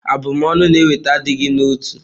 Abumonu na-eweta adịghị n'otu.